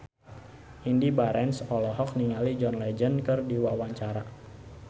Indy Barens olohok ningali John Legend keur diwawancara